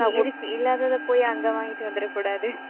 இருக்கு இல்லாததை போயி, அங்க வாங்கிட்டு வந்துடக் கூடாது.